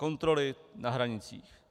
Kontroly na hranicích.